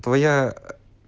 твоя